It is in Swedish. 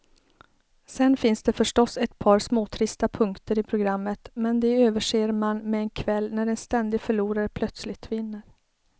Sen finns det förstås ett par småtrista punkter i programmet, men de överser man med en kväll när en ständig förlorare plötsligt vinner.